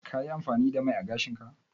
Ka yi amfani da mai ã gashin ka?